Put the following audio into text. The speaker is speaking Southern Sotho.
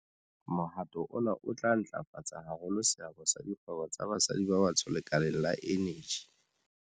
Mohato ona o tla ntlafatsa haholo seabo sa dikgwebo tsa basadi ba batsho lekaleng la eneji.